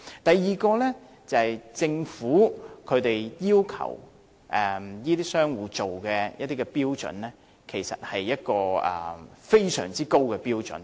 第二，政府要求這些商戶達到的標準，其實是非常高的標準。